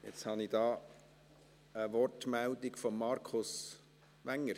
Jetzt habe ich eine Wortmeldung von Markus Wenger